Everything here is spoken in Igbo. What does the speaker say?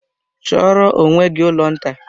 Chọọrọ onwe gị ụlọ nta!